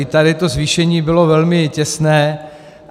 I tady to zvýšení bylo velmi těsné.